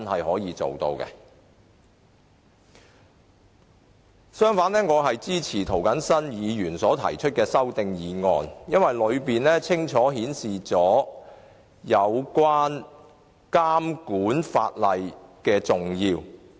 我支持涂謹申議員提出的修正案，因為他清楚指出監管法例的重要性。